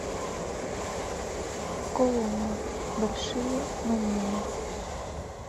коломбо большие маневры